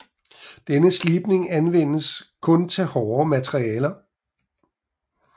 Denne slibning anvendes kun til hårdere materialer